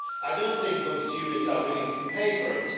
I do not think consumers are willing to pay for it.